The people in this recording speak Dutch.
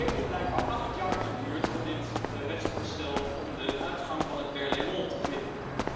Het heeft dus blijkbaar acht jaar geduurd voor dit wetsvoorstel om de uitgang van het Berlaymont gebouw te vinden.